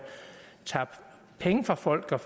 tager penge fra folk og